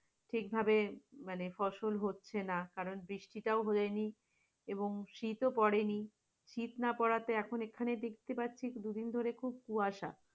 ঠিকভাবে মানে ফসল হচ্ছে না কারণ বৃষ্টিটাও হয়নি এবং শীতো পড়েনি, শীত না পড়াতে এখন এখানে দেখছি দুদিন ধরে খুব কুয়াশা।